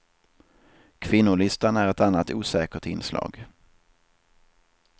Kvinnolistan är ett annat osäkert inslag.